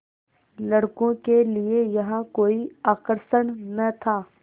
लड़कों के लिए यहाँ कोई आकर्षण न था